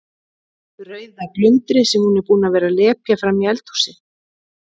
Rauða glundrið sem hún er búin að vera að lepja frammi í eldhúsi.